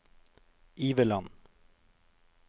Iveland